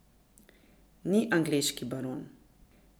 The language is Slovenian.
Ni angleški baron.